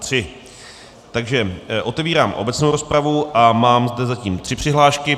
Takže otevírám obecnou rozpravu a mám zde zatím tři přihlášky.